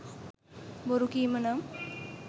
බොරු කීම නම්